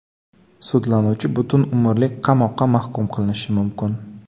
Sudlanuvchi butun umrlik qamoqqa mahkum qilinishi mumkin.